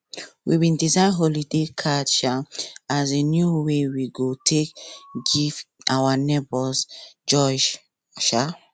we bin design holiday card um as new way we go take give our neighbours joy um